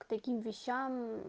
к таким вещам мм